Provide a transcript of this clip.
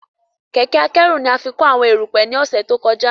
Kẹ̀kẹ́ akẹ́rù ni a fí kó àwọn erùpẹ̀ ni ọ̀sẹ̀ tó kọjá